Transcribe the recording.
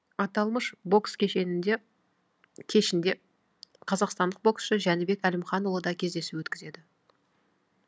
аталмыш бокс кешінде қазақстандық боксшы жәнібек әлімханұлы да кездесу өткізеді